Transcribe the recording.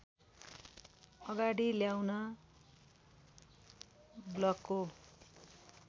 अगाडि ल्याउन ब्लकको